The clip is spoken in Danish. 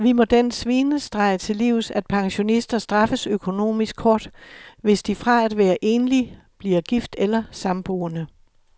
Vi må den svinestreg til livs, at pensionister straffes økonomisk hårdt, hvis de fra at være enlig bliver gift eller samboende.